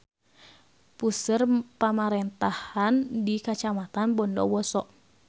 Puseur pamarentahan di Kacamatan Bondowoso.